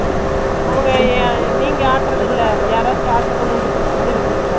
நீங்க ஆட்டுறது இல்ல யாராச்சும் ஆட்டுறத கொண்டாந்து விக்கிறதா ?